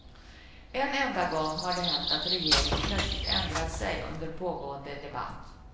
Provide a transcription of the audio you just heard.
En enda gång har det hänt att regeringen plötsligt ändrat sig under pågående debatt.